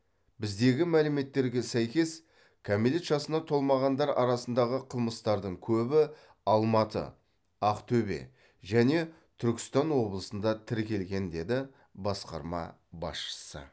біздегі мәліметтерге сәйкес кәмелет жасына толмағандар арасындағы қылмыстардың көбі алматы ақтөбе және түркістан облысында тіркелген деді басқарма басшысы